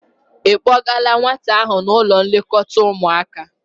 Ị kpọgala nwata ahụ n'ụlọ nlekọta ụmụaka?